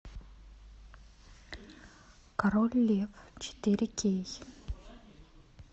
король лев четыре кей